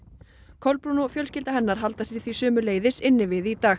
Kolbrún og fjölskylda hennar halda sig því sömuleiðis inni við í dag